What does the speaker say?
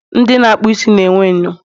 ndị na akpụ isi na enwe enyo